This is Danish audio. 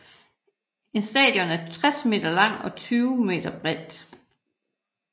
En station er 60 meter lang og 20 meter bred